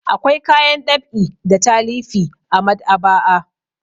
Akwai kayan ɗab'i da talifi a maɗ'aba'a.